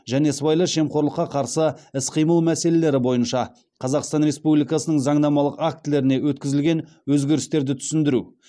және сыбайлас жемқорлыққа қарсы іс қимыл мәселелері бойынша қазақстан республикасының заңнамалық актілеріне өткізілген өзгерістерді түсіндіру